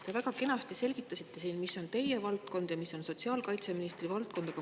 Te väga kenasti selgitasite siin, mis on teie valdkond ja mis on sotsiaalkaitseministri valdkond.